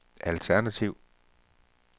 alternativ